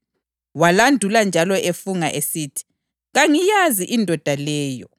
Walandula njalo efunga esithi, “Kangiyazi indoda leyo!”